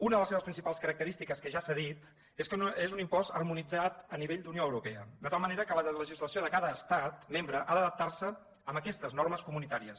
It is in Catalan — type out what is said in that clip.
una de les seves principals característiques que ja s’ha dit és que és un impost harmonitzat a nivell d’unió europea de tal manera que la legislació de cada estat membre ha d’adaptar se a aquestes normes comunitàries